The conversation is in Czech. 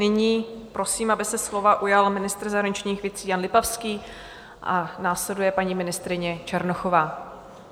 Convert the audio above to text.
Nyní prosím, aby se slova ujal ministr zahraničních věcí Jan Lipavský a následuje paní ministryně Černochová.